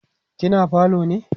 kina falo ne?